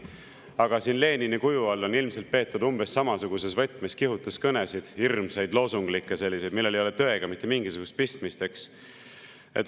Aga siin Lenini kuju all on ilmselt peetud umbes samasuguses võtmes kihutuskõnesid, hirmsaid, loosunglikke, millel ei ole tõega mitte mingisugust pistmist.